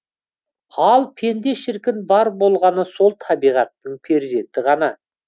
ал пенде шіркін бар болғаны сол табиғаттың перзенті ғана